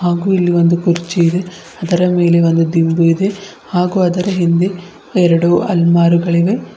ಇಲ್ಲಿ ಒಂದು ಕುರ್ಚಿ ಇದೆ ಅದರ ಮೇಲೆ ಒಂದು ದಿಂಬು ಇದೆ ಹಾಗು ಅದರ ಹಿಂಗೇ ಎರಡು ಅಲಮಾರುಗಳು ಇವೆ.